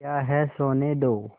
क्या है सोने दो